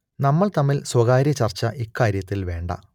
നമ്മൾ തമ്മിൽ സ്വകാര്യ ചർച്ച ഇക്കാര്യത്തിൽ വേണ്ട